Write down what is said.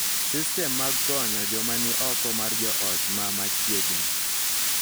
Sistem mag konyo joma ni oko mar joot ma machiegni,